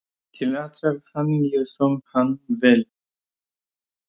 Til allrar hamingju söng hann vel!